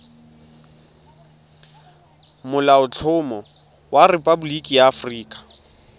molaotlhomo wa rephaboliki ya aforika